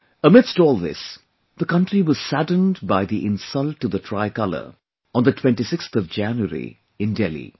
Amidst all this, the country was saddened by the insult to the Tricolor on the 26th of January in Delhi